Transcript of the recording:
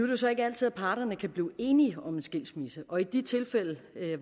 jo så ikke altid at parterne kan blive enige om en skilsmisse og i de tilfælde